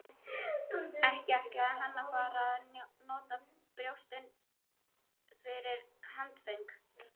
Ekki ætlaði hann að fara að nota brjóstin fyrir handföng!